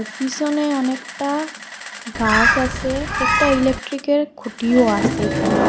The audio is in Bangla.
পিসনে অনেকটা গাস আসে একটা ইলেক্ট্রিকের খুঁটিও আসে এইখানে।